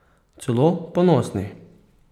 Celo ponosni!